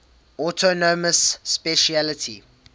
autonomous specialty